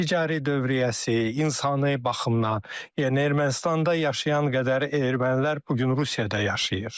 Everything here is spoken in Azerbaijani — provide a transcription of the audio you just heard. Ticari dövriyyəsi, insani baxımdan, yəni Ermənistanda yaşayan qədər ermənilər bu gün Rusiyada yaşayır.